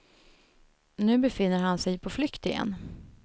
Nu befinner han sig på flykt igen.